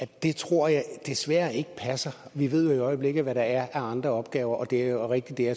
det tror jeg desværre ikke passer vi ved jo i øjeblikket hvad der er af andre opgaver og det er rigtigt at